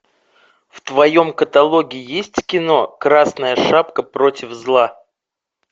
в твоем каталоге есть кино красная шапка против зла